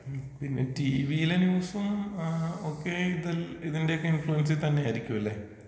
പിന്നെ ടീവീലെ ന്യൂസും ഏ ഒക്കെ ഇതൽ ഇതിന്റെയൊക്കെ ഇൻഫ്ളൂവെൻസിൽ തന്നെയായിരിക്കും ല്ലെ?